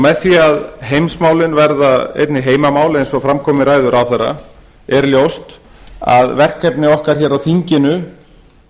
með því að heimsmálin verða einnig heimamál eins og fram kom í ræðu ráðherra er ljóst að verkefni okkar hér á þinginu